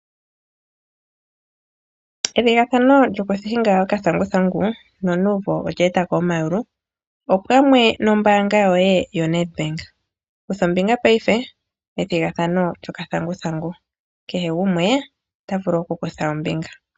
Ethigathano lyoku hinga okathanguthangu nonuumvo olya etako omayulu opamwe nombaanga yoye yoNetbank. Kutha ombinga paife methigathano lyokathanguthangu kehe gumwe ota vulu oku kutha ombinga.